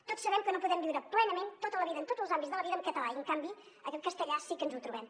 tots sabem que no podem viure plenament tota la vida en tots els àmbits de la vida en català i en canvi en castellà sí que ens ho trobem